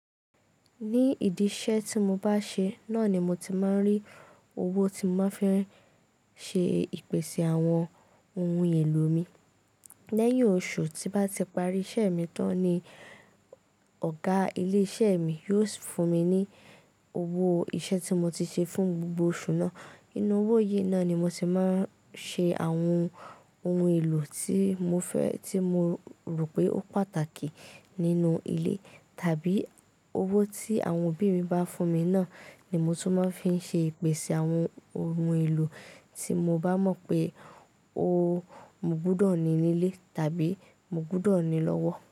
Ní ìdí iṣẹ́ tí mo bá ṣe, náà ni mo ti máa ń rí owó tí mo máa fẹ́ ṣe ìpèsè àwọn ohun èlò mi. Lẹ́yìn oṣù tí bá ti parí, iṣẹ́ mi tán ni ọ̀gá ilé iṣẹ́ mi yóò fún mi ní owó iṣẹ́ tí mo ti ṣe fún gbogbo oṣù náà. Inú owó yìí náà ni mo ti máa ń ṣe àwọn ohun èlò tí mo rò pé ó pàtàkì nínú ilé. Tàbí owó tí àwọn òbí mi bá fún mi náà ni mo tó máa ń fi ṣe ìpèsè àwọn ohun èlò tí mo bá mọ̀ pé ó mo gbọdọ̀ ní nílé tàbí mo gbọdọ̀ ní lọ́wọ́.